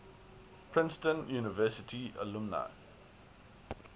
princeton university alumni